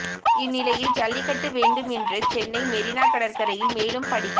இந்நிலையில் ஜல்லிக்கட்டு வேண்டும் என்று சென்னை மெரீனா கடற்கரையில் மேலும் படிக்க